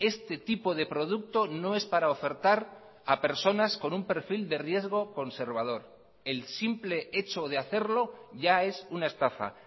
este tipo de producto no es para ofertar a personas con un perfil de riesgo conservador el simple hecho de hacerlo ya es una estafa